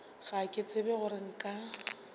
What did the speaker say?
ga ke tsebe gore nka